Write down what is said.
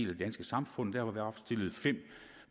det danske samfund derfor